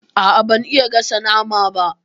A'a, ban iya gasa nama ba.